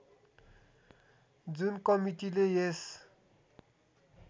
जुन कमिटीले यस